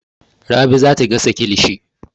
Rabi za ta gasa kilishi.